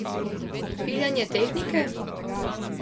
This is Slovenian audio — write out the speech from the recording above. Piljenja tehnike?